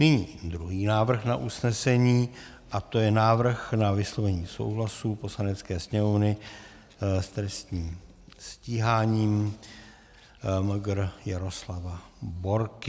Nyní druhý návrh na usnesení a to je návrh na vyslovení souhlasu Poslanecké sněmovně s trestním stíháním Mgr. Jaroslava Borky.